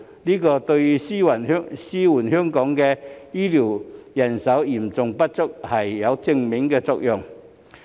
這對紓緩香港醫療人手嚴重不足有正面作用。